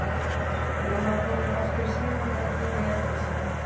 Mamma kom nú aftur í símann og var búin að jafna sig.